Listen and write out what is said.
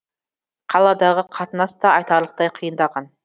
қаладағы қатынас та айтарлықтай қиындаған